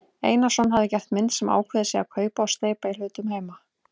Einarsson hafi gert mynd sem ákveðið sé að kaupa og steypa í hlutum heima.